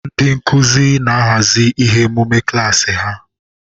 Ndị nkuzi na-ahazi ihe emume klaasi ha.